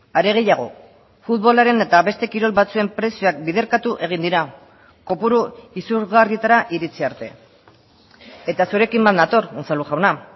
are gehiago futbolaren eta beste kirol batzuen prezioak biderkatu egin dira kopuru izurgarrietara iritsi arte eta zurekin bat nator unzalu jauna